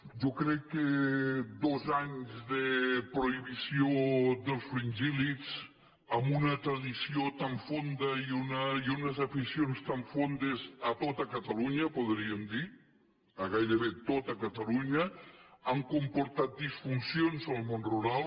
jo crec que dos anys de prohibició dels fringíl·lids amb una tradició tan fonda i unes aficions tan fondes a tot catalunya podríem dir a gairebé tot catalunya han comportant disfuncions en el món rural